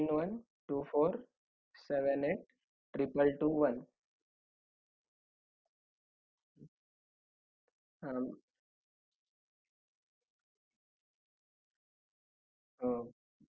हा हा हा हा ok ok sir तुमच्याशी contact करण्यात येईल आणि तुम्ही काहीच काळजी नका करू तुमचा जो